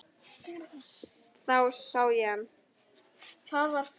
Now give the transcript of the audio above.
Þá sá ég hann.